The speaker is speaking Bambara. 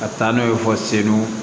Ka taa n'u ye fɔ segu